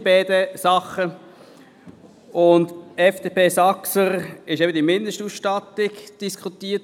Bei jener der FDP/Saxer wurde über die Mindestausstattung diskutiert.